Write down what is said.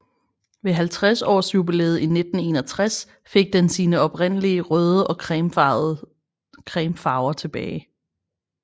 Ved 50 års jubilæet i 1961 fik den sine oprindelige røde og creme farver tilbage